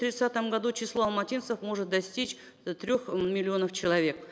тридцатом году число алматинцев может достичь э трех миллионов человек